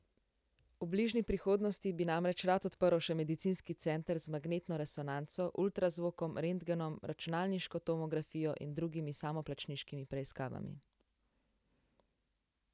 V bližnji prihodnosti bi namreč rad odprl še medicinski center z magnetno resonanco, ultrazvokom, rentgenom, računalniško tomografijo in drugimi samoplačniškimi preiskavami.